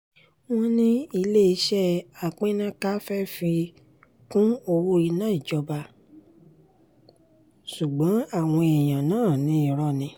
wọ́n ní iléeṣẹ́ àpínná-ká fẹ́ẹ́ fi kún owó iná ìjọba ṣùgbọ́n àwọn èèyàn náà ní irọ́ ni